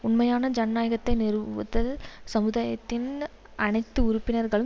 உண்மையான ஜனநாயகத்தை நிறுவுது சமுதாயத்தின் அனைத்து உறுப்பினர்களும்